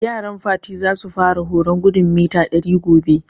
Yaran Fati za su fara horon gudun mita ɗari gobe